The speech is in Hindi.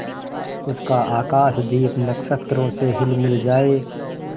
उसका आकाशदीप नक्षत्रों से हिलमिल जाए